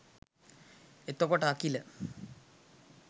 එතකොට අකිල